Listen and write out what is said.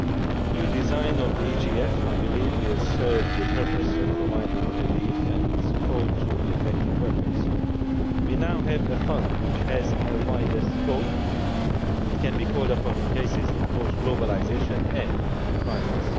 The new design of the EGF, I believe, will serve the purpose of providing relief and support to the affected workers. We now have a Fund which has a wider scope it can be called upon in cases of both globalisation and the crisis.